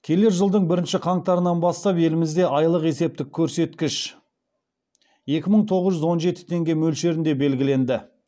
келер жылдың бірінші қаңтарынан бастап елімізде айлық есептік көрсеткіш екі мың тоғыз жүз он жеті теңге мөлшерінде белгіленді